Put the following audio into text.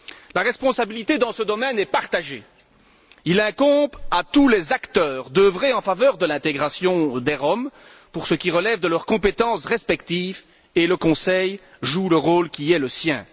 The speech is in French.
La responsabilité dans ce domaine est partagée il incombe à tous les acteurs d'œuvrer en faveur de l'intégration des Roms, pour ce qui relève de leurs compétences respectives et le Conseil joue le rôle qui est le sien.